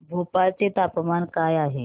भोपाळ चे तापमान काय आहे